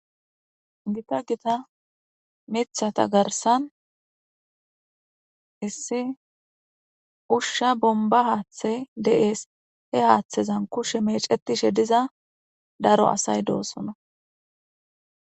gita gita mithata garsan issi ushsha bomba haaththe de'ees he haaththezan kushe mecetishe diza daro asay doosona